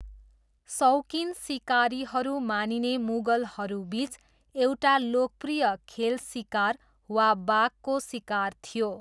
सौकिन सिकारीहरू मानिने मुगलहरूबिच एउटा लोकप्रिय खेल सिकार वा बाघको सिकार थियो।